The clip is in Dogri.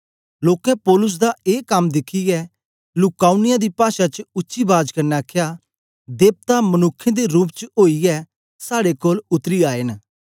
लोकें पौलुस दा ए कम दिखियै लूका उनिया दी पाषा च उच्ची बाज कन्ने आखया देवता मनुक्खें दे रूप च ओईयै साड़े कोल उतरी आए न